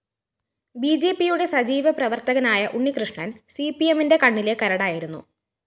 ബിജെപിയുടെ സജീവ പ്രവര്‍ത്തകനായ ഉണ്ണികൃഷ്ണന്‍ സിപിഎമ്മിന്റെ കണ്ണിലെ കരടായിരുന്നു